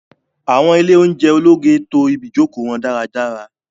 Awọn ile ounjẹ ologe to ibijoko wọn daradara